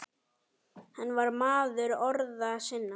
Hann var maður orða sinna.